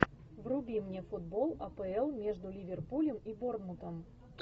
вруби мне футбол апл между ливерпулем и борнмутом